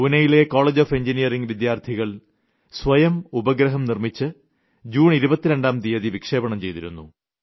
പൂനെയിലെ college of engineering വിദ്യാർത്ഥികൾ സ്വയം ഉപഗ്രഹം നിർമ്മിച്ച് ജൂൺ 22ാം തീയതി വിക്ഷേപണം ചെയ്തിരുന്നു